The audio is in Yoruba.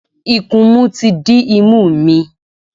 Ikunmu ti dí imú mi.